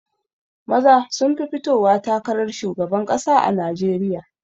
Maza sun fi fitowa takarar shugaban ƙasa a najeriya